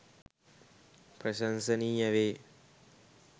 ප්‍රශංසනීය වේ.